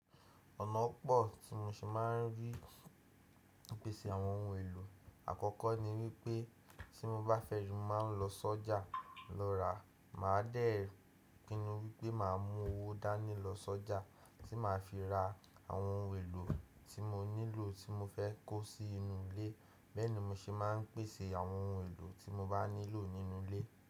Ọ̀nà pọ̀ tí mo ṣe máa ń rí ìpèsè àwọn ohun èlò. Àkọ́kọ́ ni wípé tí mo bá fẹ́ju, mo máa ń lọ sọ́jà lọ ra. Màá dẹ̀ pinu wípé màá mú owó dání lọ sọ́jà tí màá fi ra àwọn ohun èlò tí mo nílò tí mo fẹ́ kó sí inú ilé. Bẹ́ẹ̀ ni mo ṣe máa ń pèsè àwọn ohun èlò tí mo bá nílò nínú ilé.